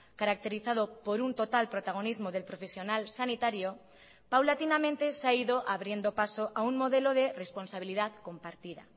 caracterizado por un total protagonismo del profesional sanitario paulatinamente se ha ido abriendo paso a un modelo de responsabilidad compartida